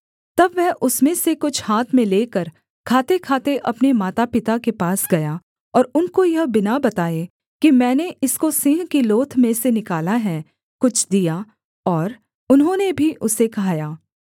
तब वह उसमें से कुछ हाथ में लेकर खातेखाते अपने माता पिता के पास गया और उनको यह बिना बताए कि मैंने इसको सिंह की लोथ में से निकाला है कुछ दिया और उन्होंने भी उसे खाया